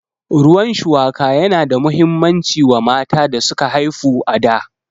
Ruwan shuwaka yana da muhimmanci wa mata da suka haifu a da